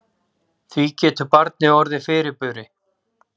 Því getur barnið orðið fyrirburi.